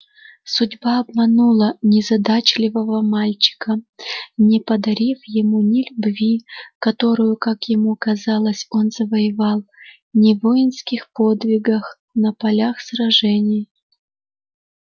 судьба обманула незадачливого мальчика не подарив ему ни любви которую как ему казалось он завоевал не воинских подвигах на полях сражений